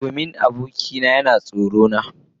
Domin abokina yana tsorata ni.